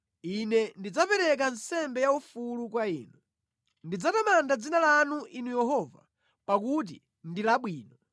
Ine ndidzapereka nsembe yaufulu kwa Inu; ndidzatamanda dzina lanu, Inu Yehova, pakuti ndi labwino.